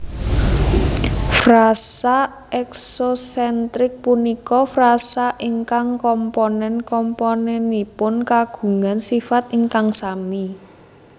Frasa eksosentrik punika frasa ingkang komponen komponenipun kagungan sifat ingkang sami